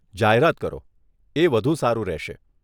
જાહેરાત કરો, એ વધુ સારું રહેશે.